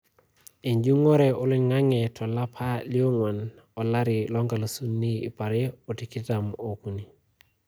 Ejurrore oliang`ang`e to lapa le ong`uan 2023.